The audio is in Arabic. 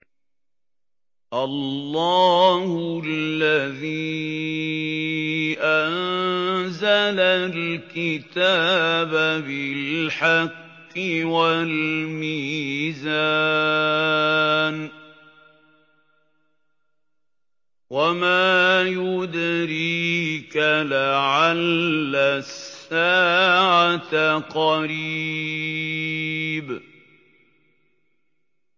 اللَّهُ الَّذِي أَنزَلَ الْكِتَابَ بِالْحَقِّ وَالْمِيزَانَ ۗ وَمَا يُدْرِيكَ لَعَلَّ السَّاعَةَ قَرِيبٌ